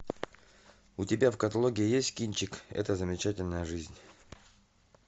у тебя в каталоге есть кинчик эта замечательная жизнь